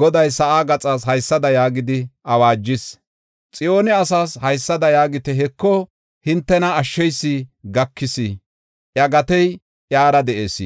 Goday sa7a gaxas haysada yaagidi awaajis: ‘Xiyoone asaas haysada yaagite; heko, hintena Ashsheysi gakis! Iya gatey iyara de7ees;